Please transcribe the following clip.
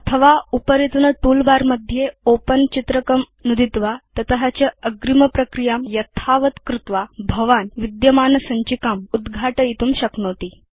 अथ वा उपरितन टूलबार मध्ये ओपेन चित्रकं नुदित्वा तत160 च अग्रिमप्रक्रियां यथावत् कृत्वा भवान् विद्यमानसञ्चिकाम् उद्घाटयितुं शक्नोति